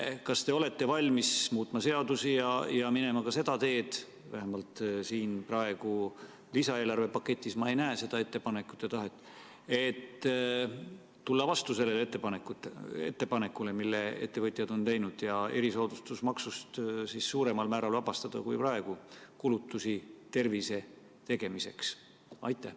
Kas te olete valmis muutma seadusi ja minema ka seda teed – vähemalt praegu siin lisaeelarvepaketis ma ei näe seda ettepanekut ja tahet –, et tulla vastu sellele ettepanekule, mille ettevõtjad on teinud, ja vabastada nad erisoodustusmaksust suuremal määral kui praegu tervisekulutuste tegemiseks?